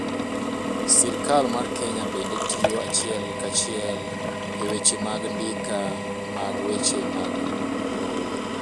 sirkal mar Kenya bende tiyo achiel kachiel eweche mag ndika mag weche mag lowo